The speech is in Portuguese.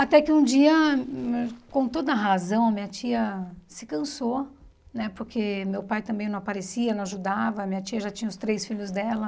Até que um dia, com toda razão, minha tia se cansou, né porque meu pai também não aparecia, não ajudava, minha tia já tinha os três filhos dela.